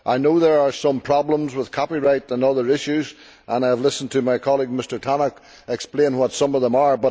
I know there are some problems with copyright and other issues, and I have listened to my colleague, Mr Tannock, explain what some of them are.